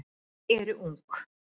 eru ung.